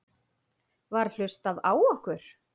Var hlustað á okkur?